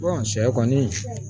sɛ kɔni